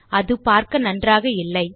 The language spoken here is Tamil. அது பார்க்க நன்றாக இல்லை